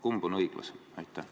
Kumb on õiglasem?